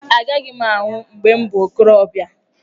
Agaghị m anwụ mgbe m bụ okorobịa.